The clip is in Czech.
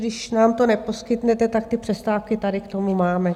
Když nám to neposkytnete, tak ty přestávky tady k tomu máme.